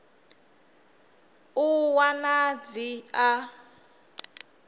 u ṱun ḓa dzi a